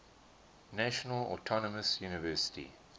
national autonomous university